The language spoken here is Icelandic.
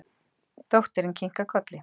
Dóttirin kinkar kolli.